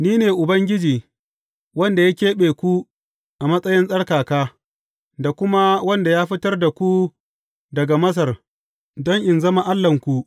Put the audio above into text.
Ni ne Ubangiji, wanda ya keɓe ku a matsayin tsarkaka da kuma wanda ya fitar da ku daga Masar don in zama Allahnku.